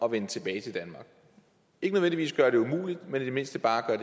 at vende tilbage til danmark ikke nødvendigvis gøre det umuligt men i det mindste bare